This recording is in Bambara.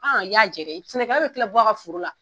i y'a jɛ dɛ sɛnɛkɛla bɛ tila bɔ a ka foro la.